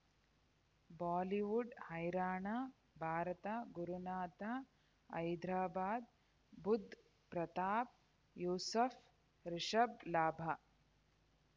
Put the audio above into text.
Bollywood ಹೈರಾಣ ಭಾರತ ಗುರುನಾಥ ಹೈದರಾಬಾದ್ ಬುಧ್ ಪ್ರತಾಪ್ ಯೂಸುಫ್ ರಿಷಬ್ ಲಾಭ